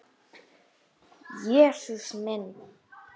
Jesús minn!